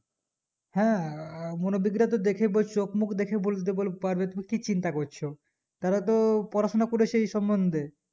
হ্যাঁ মুরব্বি গুলা তোর দেখে চোখ মুখ দেখেই বলে দিবে তুমি কি চিন্তা করছো তারাও তো পড়াশোনা করেছে এই সমন্দে